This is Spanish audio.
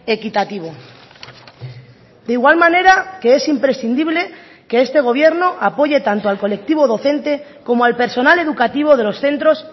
equitativo de igual manera que es imprescindible que este gobierno apoye tanto al colectivo docente como al personal educativo de los centros